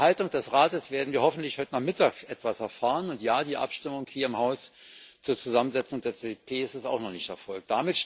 Zur Haltung des Rates werden wir hoffentlich heute Nachmittag etwas erfahren, und ja, die Abstimmung hier im Haus zur Zusammensetzung des EP ist auch noch nicht erfolgt.